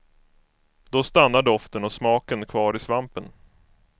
Då stannar doften och smaken kvar i svampen.